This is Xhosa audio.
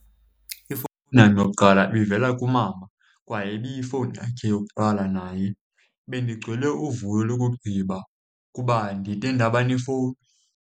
Ifowuni yam yokuqala ibivela kumama kwaye ibiyifowuni yakhe yokuqala naye. Bendigcwele uvuyo lokugqiba kuba ndide ndaba nefowuni.